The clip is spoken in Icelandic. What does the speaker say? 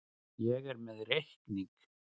Ég er með reikning.